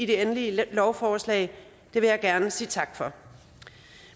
endelige lovforslag det vil jeg gerne sige tak for